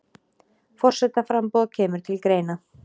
Forsetaframboð kemur til greina